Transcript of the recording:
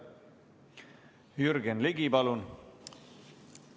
Jürgen Ligi, palun!